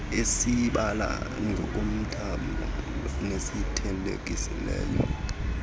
esibala ngokomthamo nesithelekelelayo